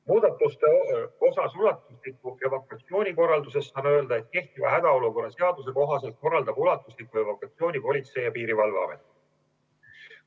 Muudatuste kohta ulatusliku evakuatsiooni korralduses saan öelda, et kehtiva hädaolukorra seaduse kohaselt korraldab ulatuslikku evakuatsiooni Politsei- ja Piirivalveamet.